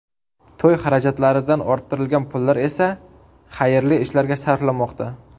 To‘y xarajatlaridan orttirilgan pullar esa xayrli ishlarga sarflanmoqda.